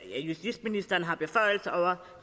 justitsministeren har beføjelser over